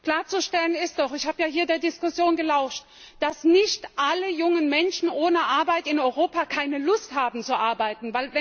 Klarzustellen ist doch ich hab ja hier der Diskussion gelauscht dass nicht alle jungen Menschen ohne Arbeit in Europa keine Lust haben, zu arbeiten.